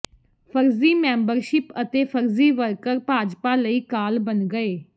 ਫਰਜ਼ੀ ਮੈਂਬਰਸ਼ਿਪ ਅਤੇ ਫਰਜ਼ੀ ਵਰਕਰ ਭਾਜਪਾ ਲਈ ਕਾਲ ਬਣ ਗਏ